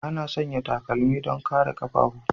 Ana sanya takalma don kare ƙafafu.